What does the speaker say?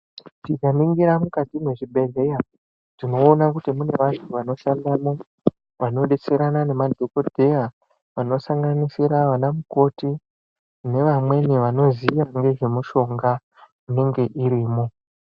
Tikaningira mukati mwe zvibhedhleya tinoona kuti mune vanhu vanoshandamo vanodetserana ne madhokoteya vanosanganisira vana mukoti nevamweni vanoziya ngezve mushonga inenge irimo.